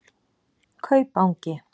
Kaupangi